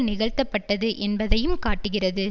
நிகழ்த்தப்பட்டது என்பதையும் காட்டுகிறது